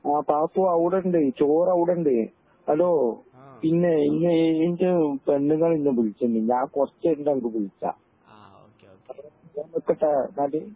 ആ പാത്തോ അവുടെണ്ട് ചോർ അവുടെണ്ട് ഹലോ പിന്നെ ഇൻ്റെ പെണ്ണുങ്ങള് ഇന്നെ വിളിച്ചിണ്ട് ഞാൻ കൊറച്ച്കഴിഞ്ഞിട്ട് അനക്ക് വിളിക്ക